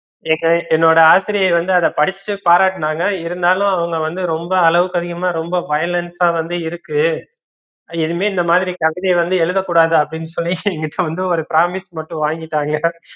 என்னோட ஆசிரியை வந்து அத படிச்சுட்டு பாராட்டுனாங்க இருந்தாலும் அவுங்க வந்து ரொம்ப அளவுக்கு அதிகமா ரொம்ப violent ஆ வந்து இருக்கு இனிமே இந்த மாதிரி கவித வந்து எழுதக்கூடாது அப்படின்னு சொல்லி இப்ப வந்து ஒரு promise மட்டும் வாங்கிட்டாங்க